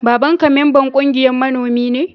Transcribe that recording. Baban ka memban ƙungiyan manomi ne?